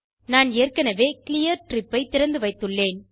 நான் ஏற்கனவே clear trip ஐ திறந்துவைத்துள்ளேன்